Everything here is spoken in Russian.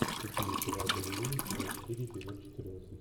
включи мне сериал балерина сезон четыре эпизод четырнадцать